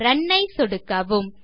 run ஐ சொடுக்கவும்